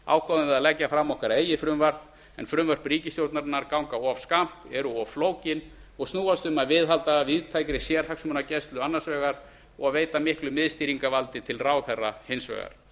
að leggja fram okkar eigið frumvarp en frumvörp ríkisstjórnarinnar ganga of skammt eru of flókin og snúast um að viðhalda víðtækri sérhagsmunagæslu annars vegar og veita miklu miðstýringarvaldi til ráðherra hins vegar